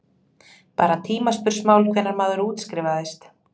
Bara tímaspursmál hvenær maður útskrifaðist.